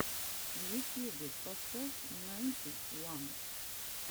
в ютьюбе поставь найнти ван